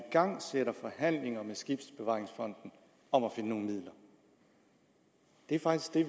igangsætter forhandlinger med skibsbevaringsfonden om at finde nogle midler det er faktisk det